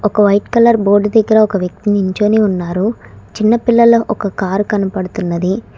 ఒక white colour board దగ్గర ఒక వ్యక్తి నించోని ఉన్నారు చిన్నపిల్లల ఒక కారు కనబడుతున్నది.